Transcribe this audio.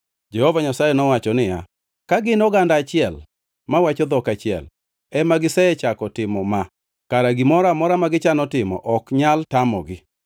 Jehova Nyasaye nowacho niya, “Ka gin oganda achiel, mawacho dhok achiel ema gisechako timo ma, kara gimoro amora ma gichano timo ok nyal tamogi.